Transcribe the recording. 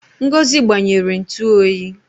Ngozi gbanyere ntu oyi